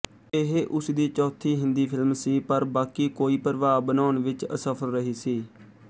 ਇਹ ਉਸਦੀ ਚੌਥੀ ਹਿੰਦੀ ਫਿਲਮ ਸੀ ਪਰ ਬਾਕੀ ਕੋਈ ਪ੍ਰਭਾਵ ਬਣਾਉਣ ਵਿੱਚ ਅਸਫਲ ਰਹੀ ਸੀ